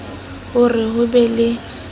ho re ho be le